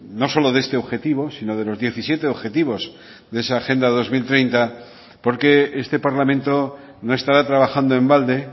no solo de este objetivo sino de los diecisiete objetivos de esa agenda dos mil treinta porque este parlamento no estará trabajando en balde